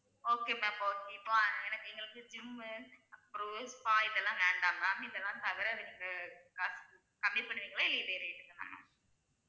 Okay ma'am okay இப்ப எனக்கு எங்களுக்கு gym அப்புறம் spa இது எல்லாம் வேண்டாம் ma'am இது எல்லாம் தவிர எனக்கு அஹ் காசு கம்மி பண்ணுவிங்களா இல்ல இதே rate க்கு தானா